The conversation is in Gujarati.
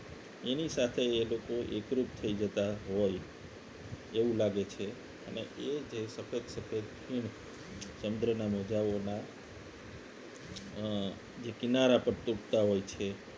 એની સાથે એ લોકો એકરૂપ થઈ જતા હોય એવું લાગે છે અને એ જે સતત સફેદ ફીણ સમુદ્રના મોજાઓ ના અ જે કિનારા પર તૂટતા હોય છે